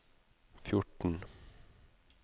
fjorten